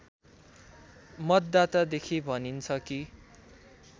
मतदातादेखि भनिन्छ कि